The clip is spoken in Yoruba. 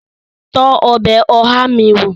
Tọ́ ọbẹ̀ oha mi wó!